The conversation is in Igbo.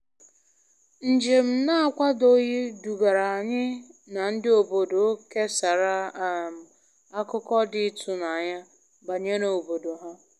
Njem na-akwadoghị dugara anyị na ndị obodo kesara um akụkọ dị ịtụnanya banyere obodo ha.